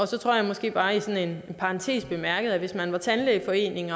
så tror jeg måske bare sådan i parentes bemærket at hvis man som tandlægeforening